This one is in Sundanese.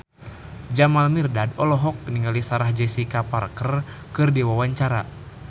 Jamal Mirdad olohok ningali Sarah Jessica Parker keur diwawancara